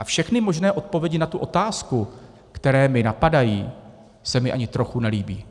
A všechny možné odpovědi na tu otázku, které mě napadají se mi ani trochu nelíbí.